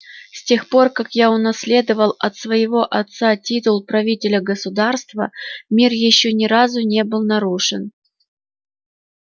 с тех пор как я унаследовал от своего отца титул правителя государства мир ещё ни разу не был нарушен